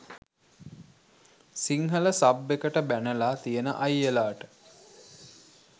Sinhala sub එකට බැනලා තියෙන අයියලාට